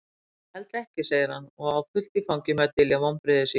Ég held ekki, segir hann og á fullt í fangi með að dylja vonbrigði sín.